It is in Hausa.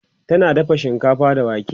tana dafa shinkafa da wake